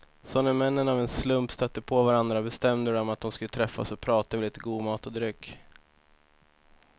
Så när männen av en slump stötte på varandra bestämde de att de skulle träffas och prata över lite god mat och dryck.